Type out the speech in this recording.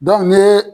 ne